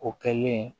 O kɛlen